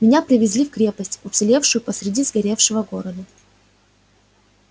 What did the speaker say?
меня привезли в крепость уцелевшую посереди сгоревшего города